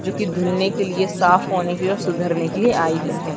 जोकि धुलने के लिए साफ़ होने और सुधरने के लिए आई हुई हैं।